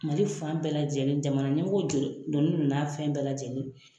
Mali fan bɛɛ lajɛlen jamana ɲɛmɔgɔw jɔ jɔlen do n'a fɛn bɛɛ lajɛlen ye.